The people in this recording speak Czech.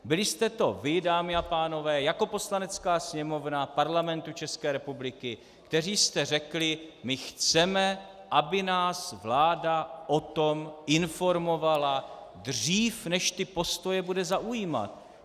Byli jste to vy, dámy a pánové jako Poslanecká sněmovna Parlamentu České republiky, kteří jste řekli: my chceme, aby nás vláda o tom informovala dřív, než ty postoje bude zaujímat.